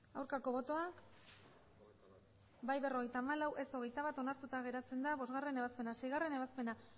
aurkako botoak emandako botoak hirurogeita hamabost bai berrogeita hamalau ez hogeita bat onartuta geratzen da bostgarrena ebazpena seigarrena ebazpena